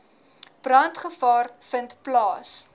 brandgevaar vind plaas